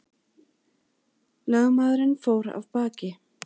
Lögmaðurinn fór af baki.